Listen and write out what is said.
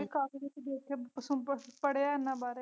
ਮੈਂ ਵੀ ਕਾਫੀ ਕੁਛ ਦੇਖਿਆ ਪੜ੍ਹਿਆ ਏਨਾ ਬਾਰੇ।